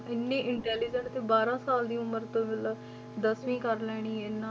ਇੰਨੀ intelligent ਤੇ ਬਾਰਾਂ ਸਾਲ ਦੀ ਉਮਰ ਤੋਂ ਹੀ ਮਤਲਬ ਦਸਵੀਂ ਕਰ ਲੈਣੀ ਇੰਨਾ